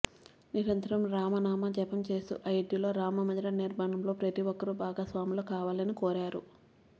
నిరంతరం రామ నామజపం చేస్తూ అయోధ్యలో రామమందిర నిర్మాణంలో ప్రతిఒక్కరూ భాగస్వాములు కావాలని కోరారు